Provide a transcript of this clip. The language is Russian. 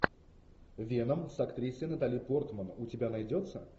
веном с актрисой натали портман у тебя найдется